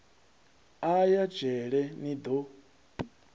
a ya dzhele ni do